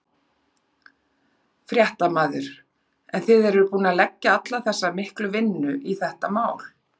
Fréttamaður: En þið eruð búnir að leggja alla þessa miklu vinnu í þetta mál?